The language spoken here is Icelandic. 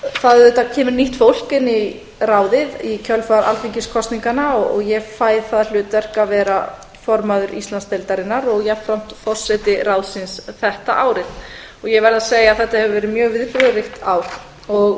það auðvitað kemur nýtt fólk inn í ráðið í kjölfar alþingiskosninganna og ég fæ það hlutverk að vera formaður íslandsdeildarinnar og jafnframt forseti ráðsins þetta árið og ég verð að segja að þetta hefur verið mjög viðburðaríkt ár og